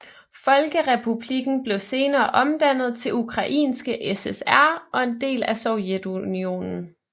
Folkerepublikken blev senere omdannet til Ukrainske SSR og en del af Sovjetunionen